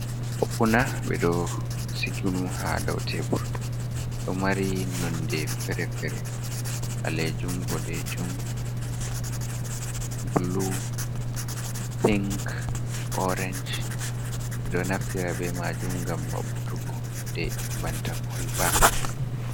Opuna, ɓe ɗo siigi ha dau tebur, ɗo mari nonde fere fere, ɓalejuum, boɗejuum, bulu, pink, orenj, ɓe ɗo naftira be majuum gam maɓutugode hunde banta kol ba.